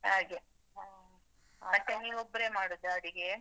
ಹಾಗೆ. ಮತ್ತೆ ನೀವೊಬ್ಬರೆ ಮಾಡುದಾ ಅಡುಗೆ?